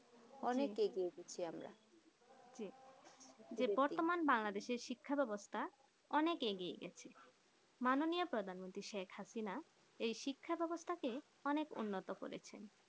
অনেক এগিয়ে গেছি আমরা বতর্মান বাংলাদেশ শিক্ষাব্যাবস্থা অনেক এগিয়ে মাননীয় প্রধান মন্ত্রী শেখ হাসিনা এই শিক্ষা ব্যবস্থাকে অনেক উন্নত করেছে